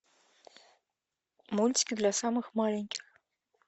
мультики для самых маленьких